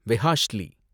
வெஹாஷ்லி